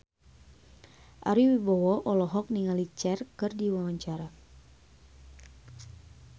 Ari Wibowo olohok ningali Cher keur diwawancara